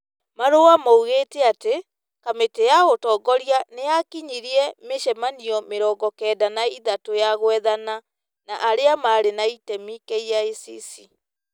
Marũa maugĩtĩ atĩ, kamĩtĩ ya ũtongoria nĩ yakinyirie mĩcemanio mĩrongo kenda na ithatũ ya gwethana na arĩa marĩ na itemi KICC,